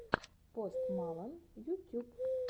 пост малон ютюб